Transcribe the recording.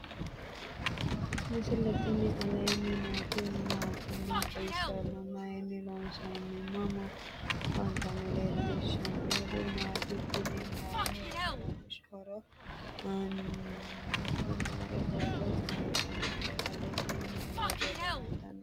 misile tini alenni nooti maati? maa xawissanno? Maayinni loonisoonni? mama affanttanno? leelishanori maati? kunni mayi horonsiraho? anasi noo borro mayitawote? alesinni noo borro mayitawote?